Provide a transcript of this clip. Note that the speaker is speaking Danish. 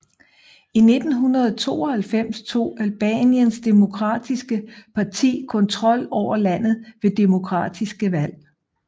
I 1992 tog Albaniens demokratiske parti kontrol over landet ved demokratiske valg